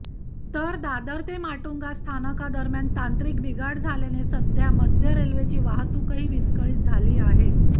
तर दादर ते माटुंगा स्थानकादरम्यान तांत्रिक बिघाड झाल्याने मध्य रेल्वेची वाहतूकही विस्कळीत झाली आहे